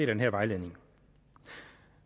den her vejledning